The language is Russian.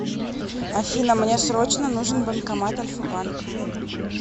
афина мне срочно нужен банкомат альфа банка